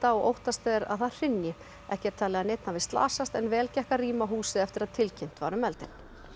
og óttast er að það hrynji ekki er talið að neinn hafi slasast en vel gekk að rýma húsið eftir að tilkynnt var um eldinn